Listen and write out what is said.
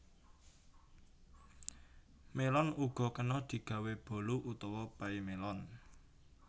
Mélon uga kena digawé bolu utawa pay mélon